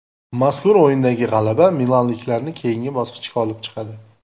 Mazkur o‘yindagi g‘alaba milanliklarni keyingi bosqichga olib chiqadi.